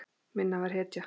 Minna var hetja.